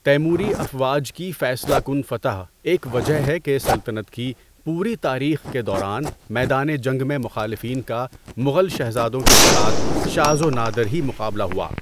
تیموری افواج کی فیصلہ کن فتح ایک وجہ ہے کہ سلطنت کی پوری تاریخ کے دوران میدان جنگ میں مخالفین کا مغل شہزادوں کے ساتھ شاذ و نادر ہی مقابلہ ہوا۔